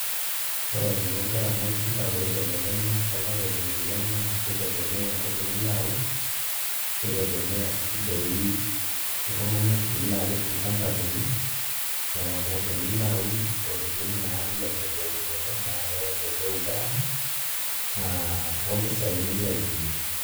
Ore enaiko garama olchamba pee ibelekenya too lapaitin ile naa kitegemea entoki nilo aun nitegemea sii doi iltung'anak lilo apik olchamba lino neeku tenilo aun ntokitin naalelek eunoto naa keleleku garama naa ompisaai nilo aitumia.